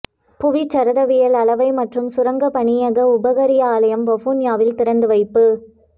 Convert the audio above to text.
புவிச்சரிதவியல் அளவை மற்றும் சுரங்கப் பணியக உபகாரியாலயம் வவுனியாவில் திறந்து வைப்பு